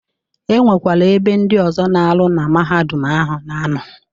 E nwekwara ebe ndị ọzọ na-arụ na Mahadum ahụ na anọ.